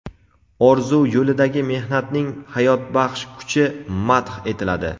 orzu yo‘lidagi mehnatning hayotbaxsh kuchi madh etiladi.